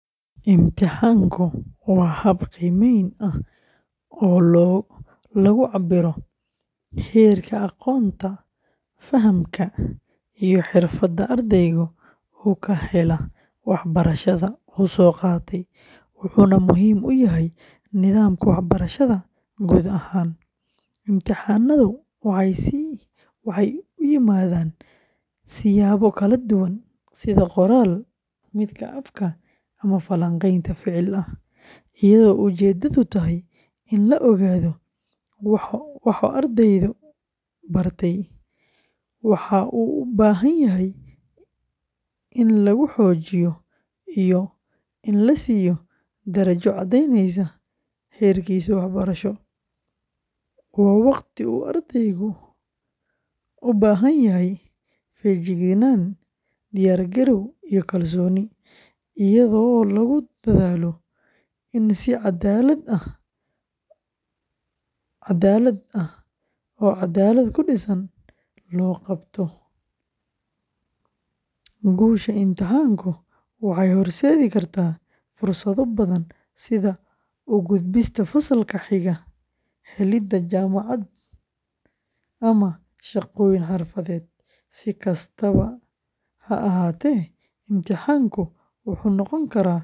Imtixaanku waa hab qiimeyn ah oo lagu cabbiro heerka aqoonta, fahamka, iyo xirfadda ardaygu uu ka helay waxbarashada uu soo qaatay, wuxuuna muhiim u yahay nidaamka waxbarashada guud ahaan. Imtixaannadu waxay u yimaadaan siyaabo kala duwan sida qoraal, afka, ama falanqayn ficil ah, iyadoo ujeedadu tahay in la ogaado waxa ardaygu bartay, wax uu u baahan yahay in lagu xoojiyo, iyo in la siiyo darajo caddaynaysa heerkiisa waxbarasho. Waa waqti uu ardaygu u baahanyahay feejignaan, diyaargarow iyo kalsooni, iyadoo lagu dadaalo in si caddaalad ah oo cadaalad ku dhisan loo qabto. Guusha imtixaanka waxay horseedi kartaa fursado badan sida u gudbista fasalka xiga, helidda jaamacad, ama shaqooyin xirfadeed. Si kastaba ha ahaatee, imtixaanku wuxuu noqon karaa.